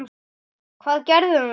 Hvað gerðum við?